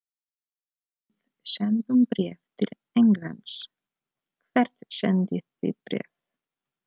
Við sendum bréf til Englands. Hvert sendið þið bréf?